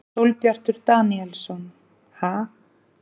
Sólbjartur Daníelsson: Ha?